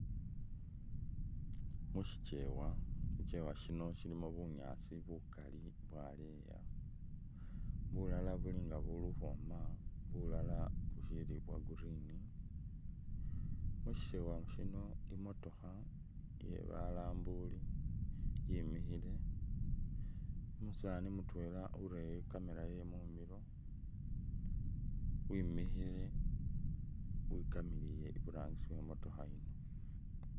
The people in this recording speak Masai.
Musyikewa, syikewa syino syilimo bunyaasi bukali bwaleya, bulala buli nga buli ukhwooma, bulala busyili bwa green. Musyikewa syino i'motokha iye balambuli yemikhile. Umusaani mutwela urere i'camera ye mumilo wimikhile wikamilile iburangisi we i'motokha yino.